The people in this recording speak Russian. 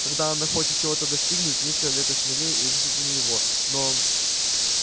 когда она хочет чего-то достигнуть нет человека смелее и решительнее его но